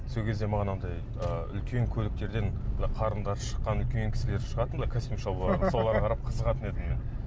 сол кезде маған анандай ы үлкен көліктерден былай қарындары шыққан үлкен кісілер шығатын былай костюм шалбармен соларға қарап қызығатын едім мен